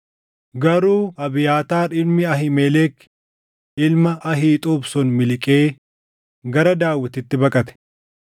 Garuu Abiyaataar ilmi Ahiimelek ilma Ahiixuub sun miliqee gara Daawititti baqate.